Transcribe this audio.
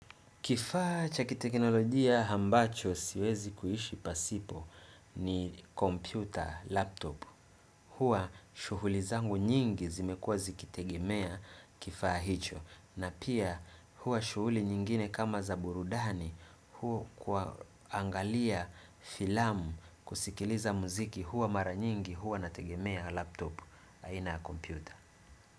Kifaa cha kiteknolojia ambacho siwezi kuishi pasipo ni kompyuta laptop huwa shughuli zangu nyingi zimekuwa zikitegemea kifaa hicho na pia huwa shughuli nyingine kama za burudani huwa kuangalia filamu kusikiliza muziki huwa mara nyingi huwa nategemea laptop aina kompyuta.